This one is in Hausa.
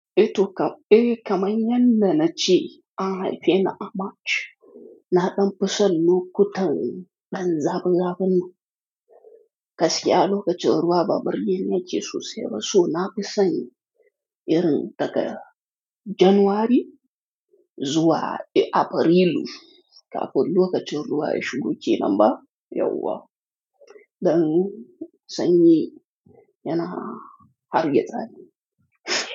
Eh to, eh, kamar yadda na ce, an haife ni a March. Na ɗan fi son lokutan dan zafi zafin nan. Gaskiya lokacin ruwa ba burgeni yake sosai ba. So na fi son. Irin daga January zuwa Afrilu. Kafin lokacin ruwa ya shigo kenan ba! Yauwa. Dan sanyi yana hargitsa ni.